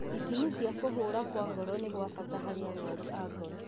Ithimi cia kũhũra kwa ngoro nĩ gwa bata harĩ arwaru a ngoro